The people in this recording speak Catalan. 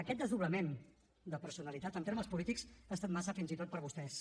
aquest desdoblament de personalitat en termes polítics ha estat massa fins i tot per a vostès